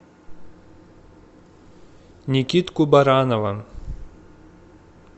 никитку баранова